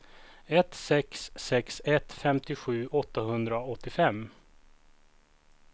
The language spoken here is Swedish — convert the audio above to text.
ett sex sex ett femtiosju åttahundraåttiofem